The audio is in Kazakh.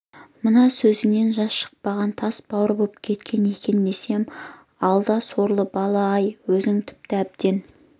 мана көзіңнен жас шықпағанға тас бауыр боп кеткен екен десем алда сорлы бала-ай өзің тіпті әбден